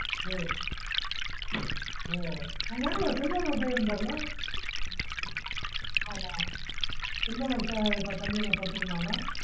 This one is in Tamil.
ஓஓ அங்க செல்வா னு ஒரு பையன் இருந்தான்ல ஆமா அங்க செல்வா னு ஒரு தம்பி படிச்சிட்டு இருந்தாருள